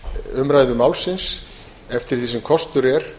umræðu málsins eftir því sem kostur er